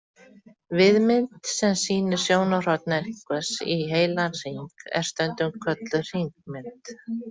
Víðmynd sem sýnir sjónarhorn einhvers í heilan hring er stundum kölluð hringmynd.